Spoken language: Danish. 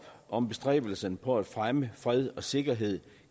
om bestræbelserne på at fremme fred og sikkerhed